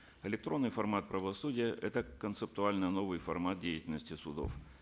электронный формат правосудия это концептуально новый формат деятельности судов